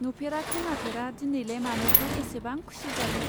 नुफेरा खोनाफेरा दिनैलाय मानोथो एसेबां खुसि जादों.